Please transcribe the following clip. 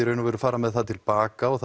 fara með það til baka og